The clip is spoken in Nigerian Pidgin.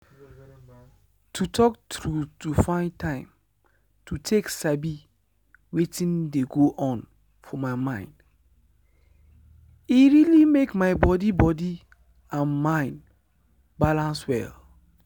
true true as i sabi more about wetin dey go on for my mind and body e help me change wetin i dey do everyday.